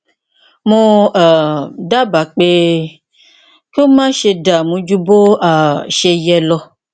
mo um dábàá pé kí o máṣe dààmú ju bó um ṣe yẹ lọ